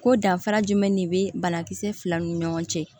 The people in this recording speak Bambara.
Ko danfara jumɛn de bɛ banakisɛ filaw ni ɲɔgɔn cɛ